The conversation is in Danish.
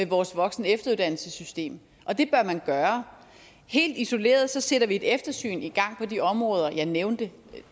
vores voksen og efteruddannelsessystem og det bør man gøre helt isoleret sætter vi et eftersyn i gang på de områder jeg nævnte